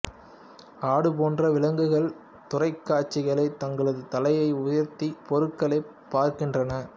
ஆடு போன்ற விலங்குகள் தூரக்காட்சிகளை தங்களது தலையை உயர்த்தி பொருட்களைப் பார்க்கின்றன